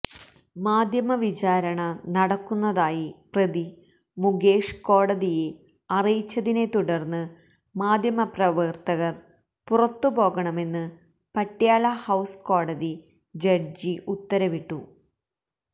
മാധ്യമവിചാരണ നടക്കുന്നതായി പ്രതി മുകേഷ് കോടതിയെ അറിയിച്ചതിനെത്തുടര്ന്ന് മാധ്യമപ്രവര്ത്തകര് പുറത്തു പോകണമെന്ന് പട്യാലഹൌസ് കോടതി ജഡ്ജി ഉത്തരവിട്ടു